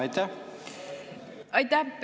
Aitäh!